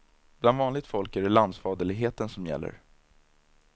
Bland vanligt folk är det landsfaderligheten som gäller.